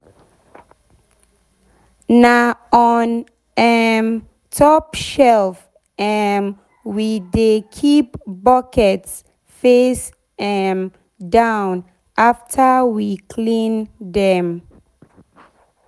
na on um top shelf um we dey keep buckets face um down afta we clean dem.